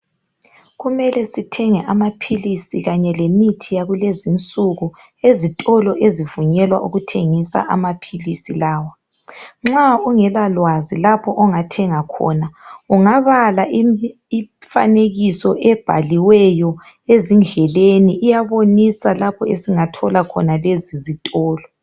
kumele sithenge amaphilisi kanye lemithi yakulezi insuku ezitolo ezivinyelwa ukuthengiswa amaphili lawa nxa ungela lwazi lapho ongathenga ungabala imfanekiso ebhaliweyo ezindleleni iyabonisa lapho esingathola khona lezi zitolo